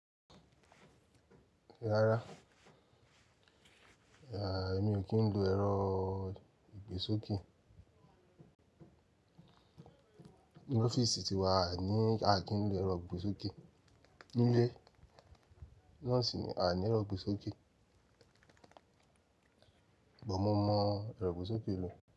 Rárá, èmi ò kí ń lo ẹ̀rọ ìgbésókè. Ni ọ́fíìsì ti wa à ní, a kí ń lo ẹ̀rọ ìgbésókè. Nílé, náà sì ni a ní ẹ̀rọ ìgbésókè. Gbo mo mọ ẹ̀rọ ìgbésókè lò.